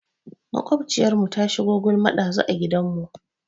Maƙwabciyarmu ta shigo gulma ɗazu a gidanmu.